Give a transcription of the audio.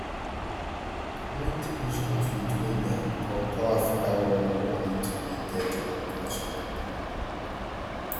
wen two huge conflicts wey dem um call call africa world wars lead to di death of millions of pipo